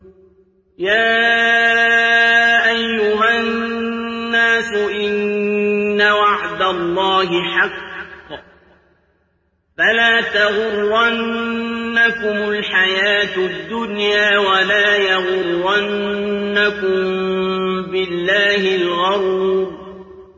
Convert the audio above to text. يَا أَيُّهَا النَّاسُ إِنَّ وَعْدَ اللَّهِ حَقٌّ ۖ فَلَا تَغُرَّنَّكُمُ الْحَيَاةُ الدُّنْيَا ۖ وَلَا يَغُرَّنَّكُم بِاللَّهِ الْغَرُورُ